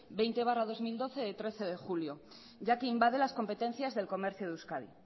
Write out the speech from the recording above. veinte barra dos mil doce de trece de julio ya que invade las competencias del comercio de euskadi